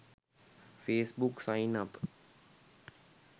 facebook sign up